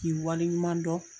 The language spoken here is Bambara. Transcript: K'i waleɲuman dɔn,